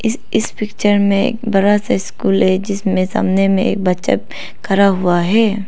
इस इस पिक्चर में एक बड़ा सा स्कूल है जिसमें सामने में एक बच्चा खड़ा हुआ है।